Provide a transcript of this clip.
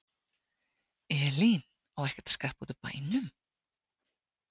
Elín: Á ekkert að skreppa út úr bænum?